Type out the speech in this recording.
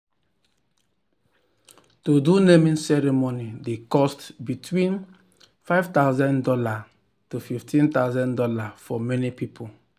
to do naming ceremony dey cost between five thousand dollars tofifteen thousand dollarsfor many people.